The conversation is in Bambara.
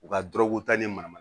U ka dɔrɔguta ni mana mana